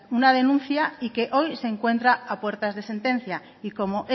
una denuncia y que hoy se encuentra a puertas de sentencia y como